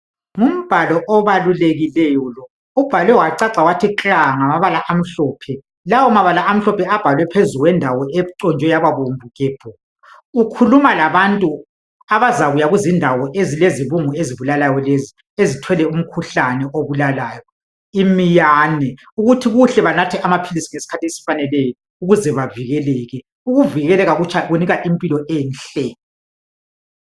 Ngumbhalo obalulekileyo lo ubhalwe wacaca wathi kla ngamabala amhlophe, lawomabala amhlophe abhalwe phezulu kwendawo econjwe yababomvu gebhu. Ukhuluma labantu abazakuya kundawo ezilezibungu ezibulalayo lezi ezithwele umkhuhlane obulalayo, imiyane ukuthi kuhle banathe amaphilisi ngesikhathi esifaneleyo ukuze bavikeleke. Ukuvikeleka kutsha kunika impilo enhle.